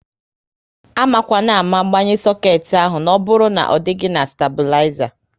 Amakwana ámá gbanye soket ahụ na ọbụrụ na ọ dịghị na staibulizer!